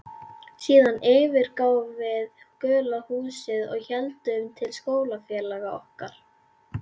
Síðan yfirgáfum við gula húsið og héldum til skólafélaga okkar.